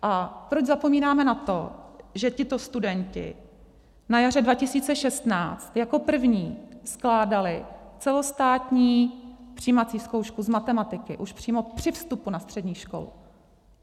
A proč zapomínáme na to, že tito studenti na jaře 2016 jako první skládali celostátní přijímací zkoušku z matematiky už přímo při vstupu na střední školu.